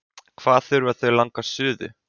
Hvað þurfa þau langa suðu?